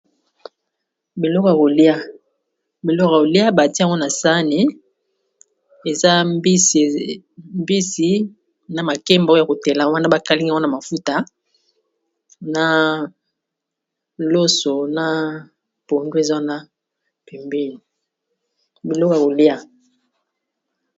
Biloko ya kolia, biloko Yako lia batia ngo na sani eza mbisi na makemba oyo ya kotela wana ba kalingi yango na mafuta na loso na pondu eza pembeni biloko yako lia.